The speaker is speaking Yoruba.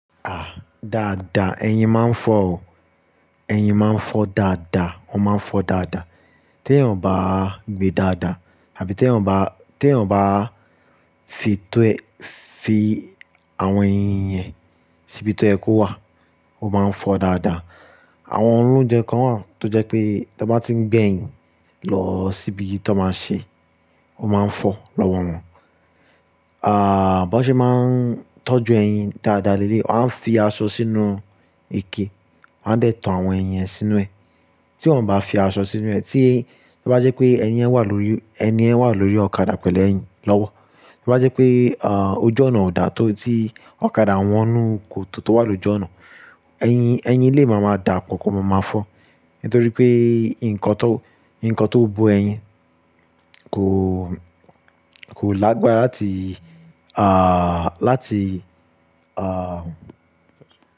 À, dáadáa, ẹyin máa ń fọ́ o. Ẹyin máa ń fọ dáadáa, ó máa ń fọ dáadáa. Tí èèyàn o bá gbe dáadáa àbí tí èèyàn bá, tí èèyàn bá fi to ẹ-- fi àwọn ẹyin yẹn síbi tó yẹ kó wà, ó máa ń fọ dáadáa. Àwọn olóunjẹ kan wà tó jẹ́ pé tí wọ́n bá ti ń gbé ẹyin lọ síbi tí wọ́n máa ṣe é, ó máa ń fọ́ lọ́wọ́ wọn. Bọn ṣe máa ń tọ́jú ẹyin dáadáa leleyi, wọ́n á fi aṣọ sínú ike, wọ́n á dẹ̀ tan àwọn eyin yẹn sínú ẹ. Tí wọ́n ò bá fi aṣọ sínú ẹ, tí bí bá jẹ́ pé ẹyin yẹn wà lórí, ẹni yẹn wà lórí ọ̀kadà pẹ̀lú ẹyin lọ́wọ́, bí bá jẹ́ pé, ojú ọ̀nà ò dáa tó tí ọ̀kadà wọnú kòtò tó wà lójú ọ̀nà, ẹyin, ẹyin lè máa máa dà pọ, ko máa máa fọ́. Nítorí pé nǹkan tó, nǹkan tó bó ẹyin kò, kò lágbára láti, à, láti, à.